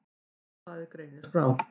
Morgunblaðið greinir frá.